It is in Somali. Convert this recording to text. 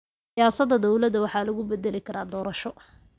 Siyaasada dawlada waxa lagu bedeli karaa doorasho.